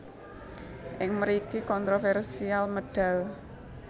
Ing mriki kontroversial medal